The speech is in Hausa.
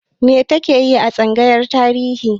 Me ta ke yi a tsangayar Tarihi?